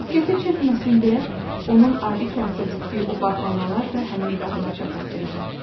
Diqqəti çəkməsin deyə onun adi kağıza bükdüyü o bağlamalar da həmin qadına çatası idi.